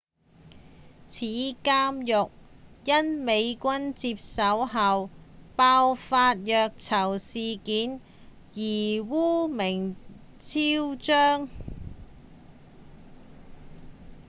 此監獄因美軍接手後爆發的虐囚事件而惡名昭彰